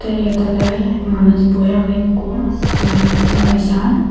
eote olay manus boi aagay eko tay rini sare.